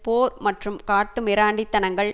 போர் மற்றும் காட்டு மிராண்டித்தனங்கள்